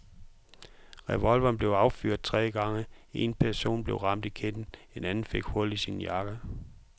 Revolveren blev affyret tre gange, en person blev ramt i kinden, en anden fik hul i sin jakke.